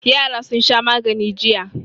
Yara sun sha magani jiya.